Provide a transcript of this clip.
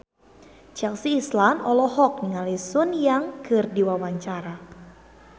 Chelsea Islan olohok ningali Sun Yang keur diwawancara